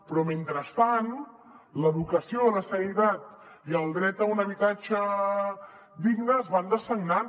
però mentrestant l’educació o la sanitat i el dret a un habitatge digne es van dessagnant